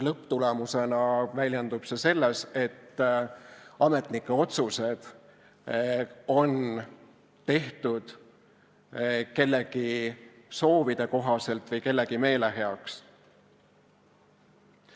Lõpptulemusena väljendub see selles, et ametnike otsused on tehtud kellegi soovide kohaselt või kellegi meeleheaks.